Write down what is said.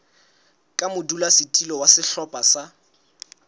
ka modulasetulo wa sehlopha sa